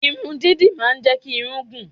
Irun dídì máa ń jẹ́ kí irun gùn.